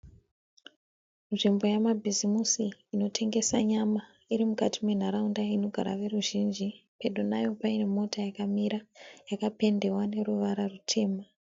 Nzvimbo yamabhizimusi inotengesa nyama, iri mukati menharaunda inogara veruzhinji, pedo nayo paine mota yakamira yakapendewa neruvara rutema